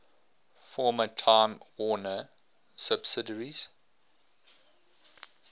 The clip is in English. former time warner subsidiaries